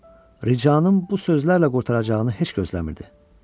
O, ricanın bu sözlərlə qurtaracağını heç gözləmirdi.